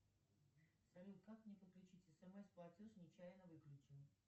салют как мне подключить смс платеж нечаянно выключила